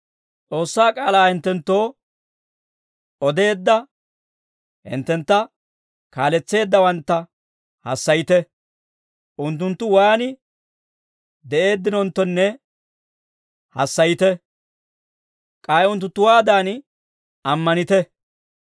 S'oossaa k'aalaa hinttenttoo odeedda hinttentta kaaletseeddaawantta hassayite; unttunttu waan de'eeddinonttonne hassayite; k'ay unttunttuwaadan ammanite.